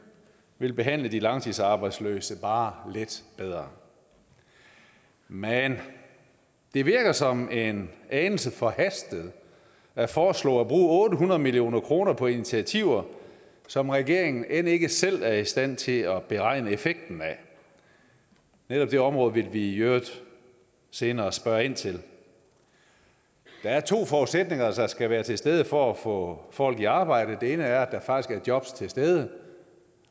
vil behandle de langtidsarbejdsløse bare lidt bedre men det virker som en anelse forhastet at foreslå at bruge otte hundrede million kroner på initiativer som regeringen end ikke selv er i stand til at beregne effekten af netop det område vil vi i øvrigt senere spørge ind til der er to forudsætninger der skal være til stede for at få folk i arbejde og den ene er at der faktisk er jobs til stede